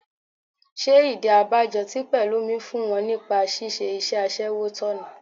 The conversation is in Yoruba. Ṣé ìdí abájọ tí Pẹ̀lúmi fún wọn nípa ṣíṣe iṣẹ́ aṣẹ́wó tọ̀nà?